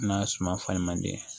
N'a suma falen man di